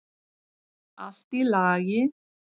Allt í lagi.